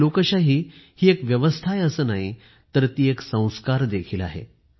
आणि लोकशाही हि एक व्यवस्था आहे असं नाही तर तो एक संस्कार देखील आहे